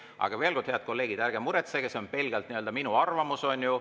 Aga veel kord, head kolleegid: ärge muretsege, see on pelgalt minu arvamus, on ju.